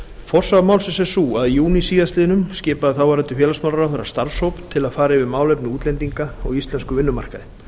forsaga málsins er sú að í júní síðastliðnum skipaði þáverandi félagsmálaráðherra starfshóp til að fara yfir málefni útlendinga á íslenskum vinnumarkaði